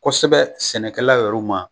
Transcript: Kosɛbɛ sɛnɛkɛlaw yɛr'u ma